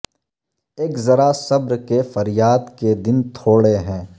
اک ذرا صبر کہ فریاد کے دن تھوڑے ہیں